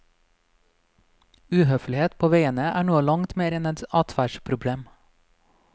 Uhøflighet på veiene er noe langt mer enn et adferdsproblem.